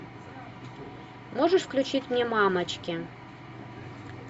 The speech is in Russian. можешь включить мне мамочки